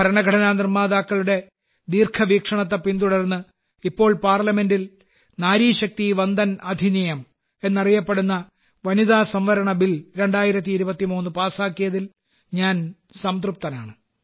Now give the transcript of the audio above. ഭരണഘടനാ നിർമ്മാതാക്കളുടെ ദീർഘവീക്ഷണത്തെ പിന്തുടർന്ന് ഇപ്പോൾ ഇന്ത്യൻ പാർലമെന്റിൽ നാരി ശക്തി വന്ദൻ അധിനിയം എന്നറിയപ്പെടുന്ന വനിതാസംവരണബിൽ 2023 പാസാക്കിയതിൽ ഞാൻ സംതൃപ്തനാണ്